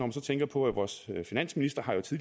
også tænke på vores finansminister